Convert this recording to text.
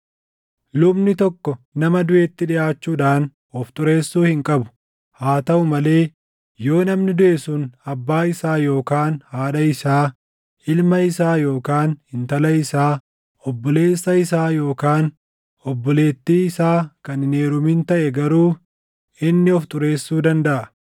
“ ‘Lubni tokko nama duʼetti dhiʼaachuudhaan of xureessuu hin qabu; haa taʼu malee yoo namni duʼe sun abbaa isaa yookaan haadha isaa, ilma isaa yookaan intala isaa, obboleessa isaa yookaan obboleettii isaa kan hin heerumin taʼe garuu inni of xureessuu dandaʼa.